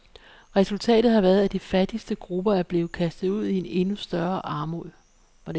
Resultatet har været, at de fattigste grupper er blevet kastet ud i endnu større armod.